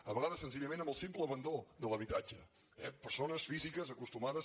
a vegades sen·zillament amb el simple abandó de l’habitatge eh persones físiques acostumades